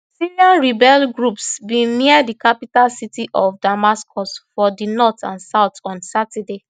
syrian rebel groups bin near di capital city of damascus from di north and south on saturday